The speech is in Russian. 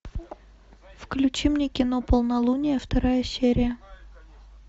включи мне кино полнолуние вторая серия